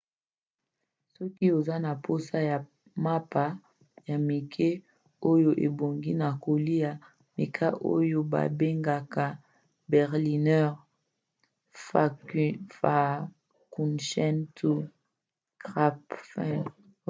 soki oza na mposa ya mapa ya mike oyo ebongi na kolia meka oyo babengaka berliner pfannkuchen to krapfen